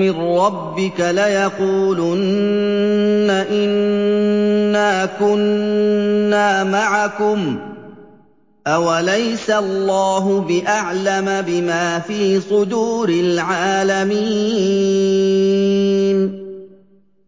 مِّن رَّبِّكَ لَيَقُولُنَّ إِنَّا كُنَّا مَعَكُمْ ۚ أَوَلَيْسَ اللَّهُ بِأَعْلَمَ بِمَا فِي صُدُورِ الْعَالَمِينَ